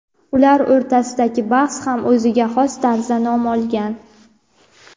ular o‘rtasidagi bahs ham o‘ziga xos tarzda nom olgan.